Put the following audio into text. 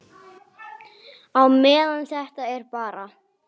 Á meðan þetta er bara.